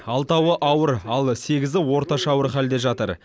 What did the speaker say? алтауы ауыр ал сегізі орташа ауыр халде жатыр